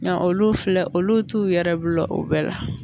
Nka olu filɛ olu t'u yɛrɛ bila o bɛɛ la